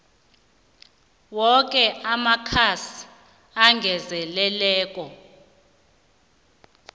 woke amakhasi angezelelweko